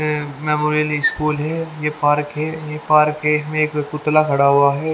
मेमोरिली school है ये park है ये पार्क एक पुतला खड़ा हुआ है।